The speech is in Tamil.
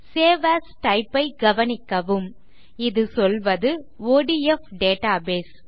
சேவ் ஏஎஸ் டைப் ஐ கவனிக்கவும் இது சொல்வது ஒடிஎஃப் டேட்டாபேஸ்